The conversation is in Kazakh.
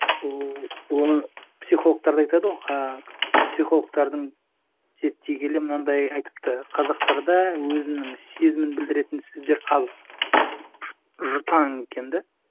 ооо оны психологтар да айтады ғой ыыы психологтардың зерттегелі мынандай айтыпты қазақтарда өзінің сезімін білдіретін сөздер аз жұтаң екен да